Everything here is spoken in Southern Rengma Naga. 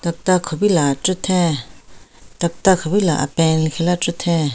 Tokta kupila chütheng tokta kupila apeng lekhila chütheng.